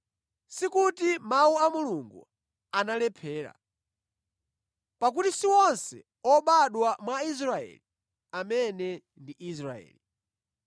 Sikuti mawu a Mulungu analephera. Pakuti si onse obadwa mwa Israeli amene ndi Israeli.